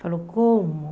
Falou, como?